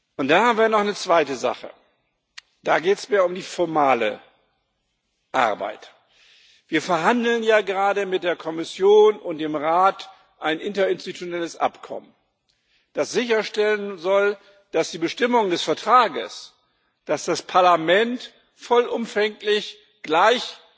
Und dazu haben wir noch eine zweite Sache, da geht es mehr um die formale Arbeit Wir verhandeln ja gerade mit der Kommission und dem Rat über ein interinstitutionelles Abkommen, das sicherstellen soll, dass die Bestimmungen des Vertrags, dass das Parlament vollumfänglich gleich